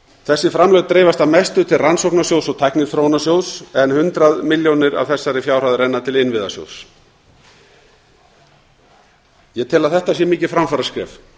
þessi framlög dreifast að mestu til rannsóknasjóðs og tækniþróunarsjóðs en hundrað milljónir af þessari fjárhæð renna til innviðasjóðs ég tel að þetta sé mikið framfaraskref